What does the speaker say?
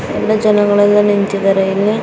ಎಲ್ಲಾ ಜನಗಳೆಲ್ಲಾ ನಿಂತಿದ್ದಾರೆ ಇಲ್ಲಿ .